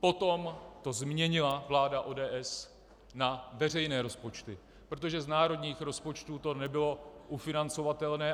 Potom to změnila vláda ODS na veřejné rozpočty, protože z národních rozpočtů to nebylo ufinancovatelné.